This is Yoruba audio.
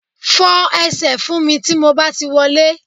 Fọ ẹsẹ̀ fún mi tí mo bá ti wọlé